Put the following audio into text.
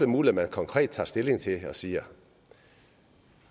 muligt at man konkret tager stilling til det og siger